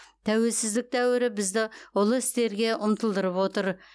тәуелсіздік дәуірі бізді ұлы істерге ұмтылдырып отыр